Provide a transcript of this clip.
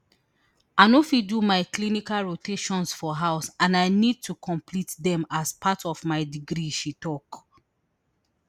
i no fit do my clinical rotations for house and i need to complete dem as part of my degree she tok